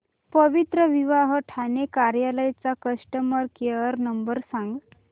पवित्रविवाह ठाणे कार्यालय चा customer care number सांग